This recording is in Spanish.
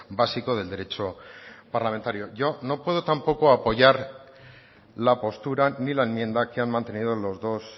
básico del derecho parlamentario yo no puedo tampoco apoyar la postura ni la enmienda que han mantenido los dos